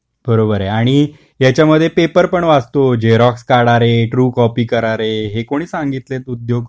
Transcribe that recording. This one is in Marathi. बरोबर आहे आणि त्याच्यामध्ये पेपर पण वाचून जातो, झेरोक्स काढ़ा रे, ट्रू कॉपी करा रे हे कोणी सांगितले उद्योग.